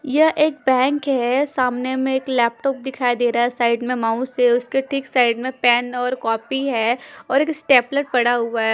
यह एक बैंक है सामने में एक लैपटॉप दिखाई दे रहा है साइड में माउस है उसके ठीक साइड में पेन और कॉपी है और एक स्टेपलर पड़ा हुआ है।